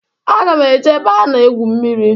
Aga m eje ebe ana-egwu mmiri.